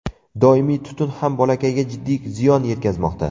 Doimiy tutun ham bolakayga jiddiy ziyon yetkazmoqda.